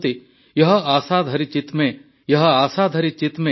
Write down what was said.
ୟହ ଆସା ଧରି ଚିତ ମେ ୟହ ଆସା ଧରି ଚିତ ମେ